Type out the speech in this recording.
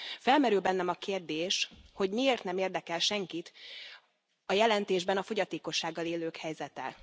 Felmerül bennem a kérdés, hogy miért nem érdekel senkit a jelentésben a fogyatékossággal élők helyzete?